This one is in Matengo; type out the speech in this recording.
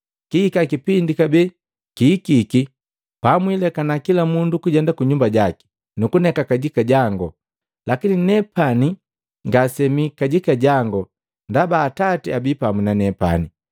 Kihika kipindi, kabee kihikiki pamwilekana kila mundu kujenda kunyumba jaki, nukuneka kajika jangu. Lakini nepani ngase mii kajika jangu ndaba Atati abii pamu na nepani.